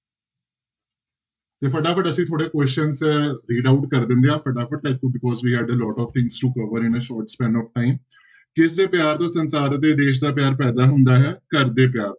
ਤੇ ਫਟਾਫਟ ਅਸੀਂ ਥੋੜ੍ਹੇ questions ਕਰ ਦਿੰਦੇ ਹਾਂ ਫਟਾਫਟ lot of things to cover in of time ਕਿਸਦੇ ਪਿਆਰ ਤੋਂ ਸੰਸਾਰ ਅਤੇ ਦੇਸ ਦਾ ਪਿਆਰ ਪੈਦਾ ਹੁੰਦਾ ਹੈ ਘਰਦੇ ਪਿਆਰ